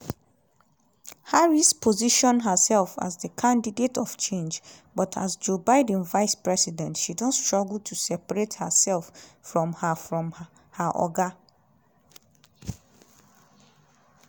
harris position herself as di candidate of change but as joe biden vice president she don struggle to separate hersef from her from her oga